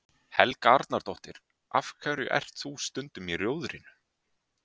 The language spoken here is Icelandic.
Helga Arnardóttir: Af hverju ert þú stundum í Rjóðrinu?